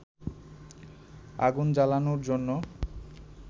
আগুন জ্বালানোর জন্য